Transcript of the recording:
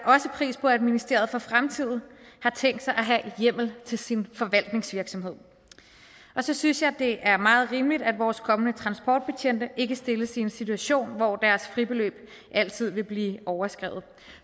pris på at ministeriet i fremtiden har tænkt sig at have hjemmel til sin forvaltningsvirksomhed og så synes jeg det er meget rimeligt at vores kommende transportbetjente ikke stilles i en situation hvor deres fribeløb altid vil blive overskredet